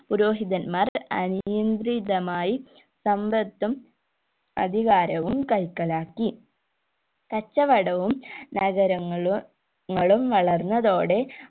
പുരോഹിതൻമാർ അനിയത്രിതമായി സമ്പത്തും അധികാരവും കൈക്കലാക്കി കച്ചവടവും നഗരങ്ങളും ങ്ങളും വളർന്നതോടെ